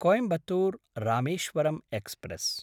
कोयिम्बत्तूर्–रामेश्वरं express